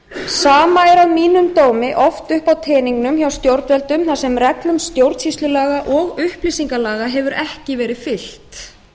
sama er að mínum dómi oft uppi á teningnum hjá stjórnvöldum þar sem reglum stjórnsýslulaga og upplýsingalaga hefur ekki verið fylgt